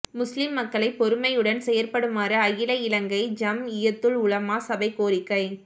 முஸ்லிம் மக்களை பொறுமையுடன் செயற்படுமாறு அகில இலங்கை ஜம்இய்யத்துல் உலமா சபை கோரிக்கை